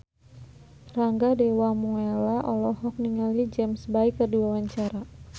Rangga Dewamoela olohok ningali James Bay keur diwawancara